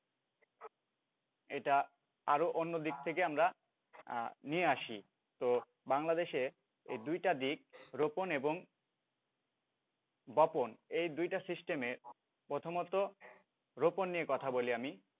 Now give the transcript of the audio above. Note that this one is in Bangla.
এটা আরও অন্যদিক থেকে আমরা নিয়ে আসি। তো বাংলাদেশে এই দুইটা দিক রোপণ এবং বপন এ দুইটা system এ প্রথমত রোপণ নিয়ে কথা বলি আমি।